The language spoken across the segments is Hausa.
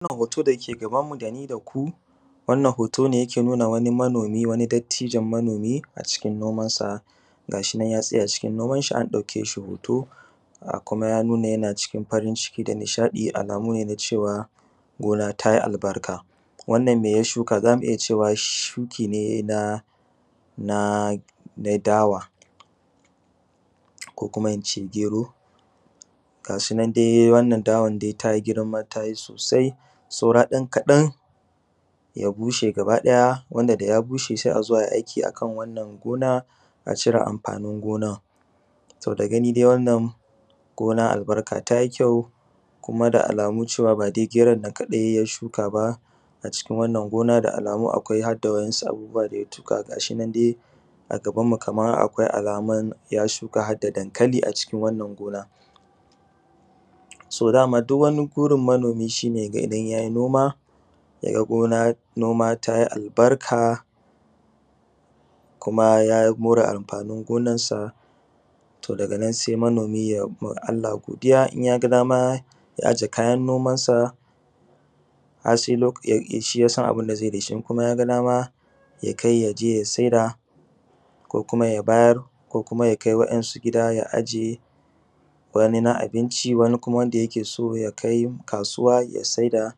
Wannan hoton dake gabanmu dani daku, hoto ne dake nuna wani manomi wani dattijon manomi a cikin nomansa. Ga shinan ya tsaya cikin nomanshi an ɗakeshi hoto kuma ya nuna yana cikin farin ciki da nishaɗi alamune na cewa gona tayi albarka. Wannan meya shukaZamu iya cewa shukine na na na dawa ko kuma ince gero gashinan dai ta girma tayi sosai sau ɗan kaɗan ya bushe gaba ɗaya wanda daya bushe sai azo ai aiki akan wannan gona, a cire amfanin gonan. To da gani dai wannan gona albarka tayi kyau kuma da alamu cewa badai geronan kaɗai ya shuka ba a cikin wannan gona da alamu akwai hadda wasu abubuwa daya tuɓe. ga shinan dai Kaman a gabanmu akwai alamun ya shuka hadda dankali a cikin wannan gona. So dama duwwani burin manomi shine yaga idan yayi noma yaga noma tayi albarka kuma ya more amfanin gonan sa, to daganan sai manomi yaima Allah godiya in yaga dama ya aje kayan nomansa, har sai loka shi yasan abunda zaiyi dashi in kuma yaga dama yakai yaje ya saida ko kuma ya bayar ko yakai waɗansu gida ya aje wani na abinci wani kuma wanda yake so yakai kasuwa ya saida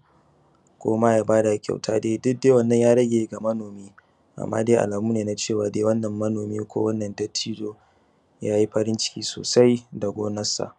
koma yabada kyauta duk wannan dai ya rage ga manomi, amma dai alamune na cewa dai wannan manomi ko wannan dattijo yayi farin ciki sosai da gonar sa.